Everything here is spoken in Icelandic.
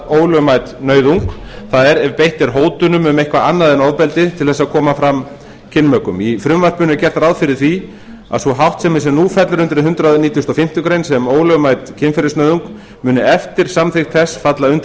ólögmæt nauðung það er ef beitt er hótunum um eitthvað annað en ofbeldi til þess að koma fram kynmökum í frumvarpinu er gert ráð fyrir því að sú háttsemi sem nú fellur undir hundrað nítugasta og fimmtu grein sem ólögmæt kynferðisnauðung muni eftir samþykkt þess falla undir hundrað